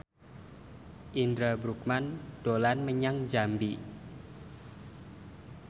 Indra Bruggman dolan menyang Jambi